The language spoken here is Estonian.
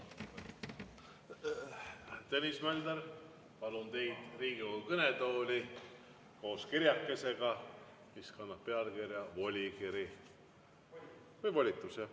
Tõnis Mölder, palun teid Riigikogu kõnetooli koos kirjakesega, mis kannab pealkirja "Volikiri" või "Volitus", jah.